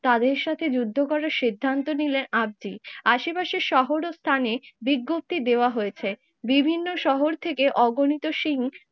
তাদের সাথে যুদ্ধ করার সিদ্ধান্ত নিলেন আদ্দি। আশেপাশের শহর ও স্থানে বিজ্ঞপ্তি দেওয়া হয়েছে বিভিন্ন শহর থেকে অগণিত সিং